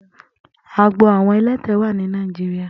Àágbó awọn ẹ̀lẹ̀tẹ̀ wà ni Nàijiriá